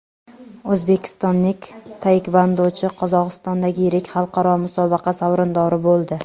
O‘zbekistonlik taekvondochi Qozog‘istondagi yirik xalqaro musobaqa sovrindori bo‘ldi.